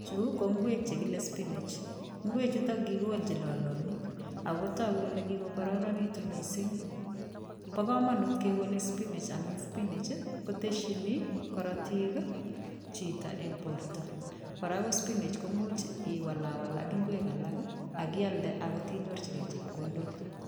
Chu ko ingwek chekile spinach. Ingechutok kikikolji lolonik , akotaku kole kikokararanikitu mising. Bo kamanut kekolei spinach amu spinach koteshini karotik chito eng borta. Kora ko spinach imuch i walawal ak ingwek alak ak ialde aneityo inyirchigei chepkondok.